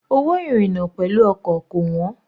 Owó ìrìna pẹ̀lú ọkọ̀ kò wọ́n.